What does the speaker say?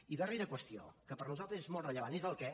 i la darrera qüestió que per nosaltres és molt rellevant és el què